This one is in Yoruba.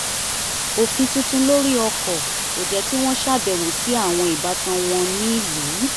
òfin tuntun lori ọkọ̀ kò jẹ́ kí wọ́n ṣàbẹwò sí àwọn ìbátan wọn nílùú